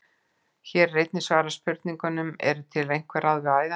Hér er einnig svarað spurningunum: Eru til einhver ráð við æðahnútum?